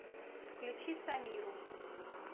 включи самиру